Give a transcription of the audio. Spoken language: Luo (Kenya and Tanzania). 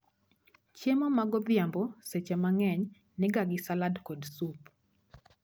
Chiemo ma godhiambo seche mang'eny niga gi salad kod sup